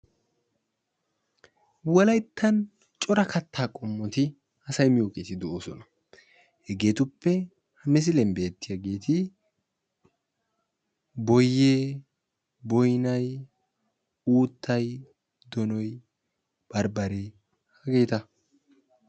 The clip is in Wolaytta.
Wolayttan cora kattaa qomoti asay miyoogeti de'oosona. hegeetuppe misiliyaan beettiyaageti boyee, boynay, uuttay, donoy, barbbaree heegeta.